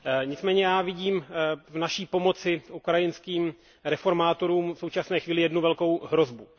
Nicméně já vidím v naší pomoci ukrajinským reformátorům v současné chvíli jednu velkou hrozbu.